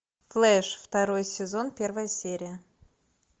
флэш второй сезон первая серия